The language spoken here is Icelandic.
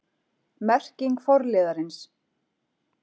Merking forliðarins